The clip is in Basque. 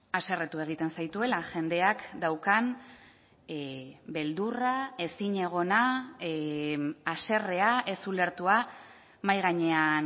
haserretu egiten zaituela jendeak daukan beldurra ezinegona haserrea ez ulertua mahai gainean